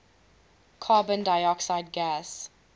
carbon dioxide gas